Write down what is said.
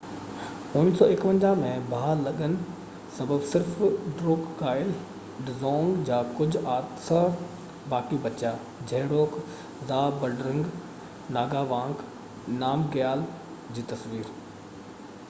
1951 ۾ باهه لڳن سبب صرف ڊروڪگائل ڊزونگ جا ڪجهه آثر باقي بچيا جهڙوڪ زهابڊرنگ ناگاوانگ نامگيال جي تصوير